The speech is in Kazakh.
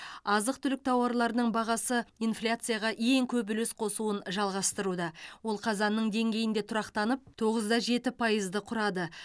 азық түлік тауарларының бағасы инфляцияға ең көп үлес қосуын жалғастыруда ол қазанның деңгейінде тұрақтанып тоғызда жеті пайызды құрады